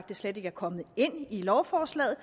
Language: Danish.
det slet ikke er kommet ind i lovforslaget